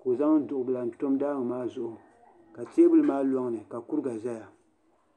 ka o zaŋ duɣu bila n tam daangi maa zuɣu ka teebuli maa loŋni ka kuriga ʒɛya